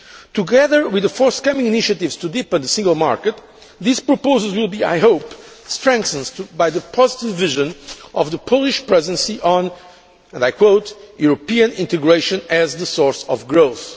Together with the forthcoming initiatives to deepen the Single Market, these proposals will, I hope, be strengthened by the positive vision of the Polish Presidency on European integration as the source of growth'.